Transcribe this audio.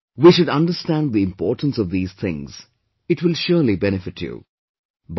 Actually, we should understand the importance of these things, it will surely benefit you